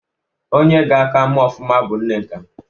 Onye ga-a ka mee ọfụma bụ Nneka.